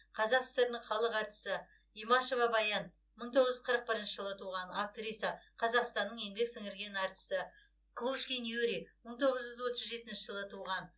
қазақ сср інің халық әртісі имашева баян мың тоғыз жүз қырық бірінші жылы туған актриса қазақстанның еңбек сіңірген артисі клушкин юрий мың тоғыз жүз отыз жетінші жылы туған